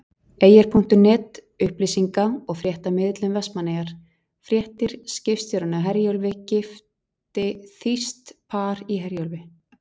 Eyjar.net- upplýsinga- og fréttamiðill um Vestmannaeyjar- Fréttir- Skipstjórinn á Herjólfi gifti Þýskt par í Herjólfi.